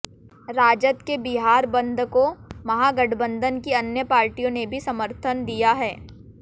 राजद के बिहार बंद को महागठबंधन की अन्य पार्टियों ने भी समर्थन दिया है